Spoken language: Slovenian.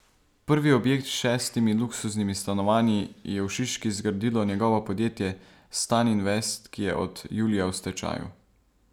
Prvi objekt s šestimi luksuznimi stanovanji je v Šiški zgradilo njegovo podjetje Staninvest, ki je od julija v stečaju.